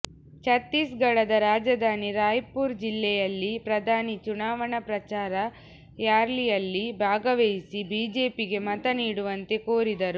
ಛತ್ತೀಸ್ಗಢದ ರಾಜಧಾನಿ ರಾಯ್ಪುರ್ ಜಿಲ್ಲೆಯಲ್ಲಿ ಪ್ರಧಾನಿ ಚುನಾವಣಾ ಪ್ರಚಾರ ರ್ಯಾಲಿಯಲ್ಲಿ ಭಾಗವಹಿಸಿ ಬಿಜೆಪಿಗೆ ಮತ ನೀಡುವಂತೆ ಕೋರಿದರು